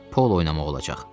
polo oynamaq olacaq.